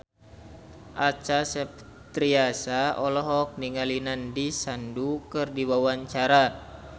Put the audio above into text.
Acha Septriasa olohok ningali Nandish Sandhu keur diwawancara